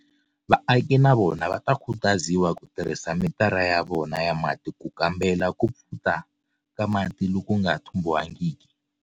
Vaaki na vona va khutaziwa ku tirhisa mitara ya vona ya mati ku kambela ku pfuta ka mati loku nga thumbiwangiki.